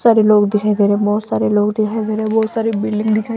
सारे लोग दिखाई दे रहे हैं बहुत सारे लोग दिखाई दे रहे हैं बहुत सारे बिल्डिंग दिखाई --